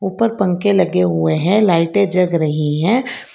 ऊपर पंखे लगे हुए हैं लाइटें जग रही है।